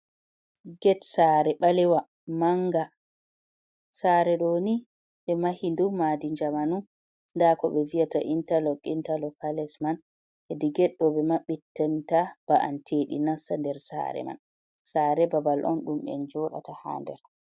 Ged sare balewa manga, sare doni ɓe mahi ɗum madi jamanu, dako be vi’ata intarlog intalocales ha les man hedi geddo be maɓɓittanta ba’an tedi nasta nder sare man, sare babal on dum en jodata ha nder.